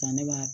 Ka ne ba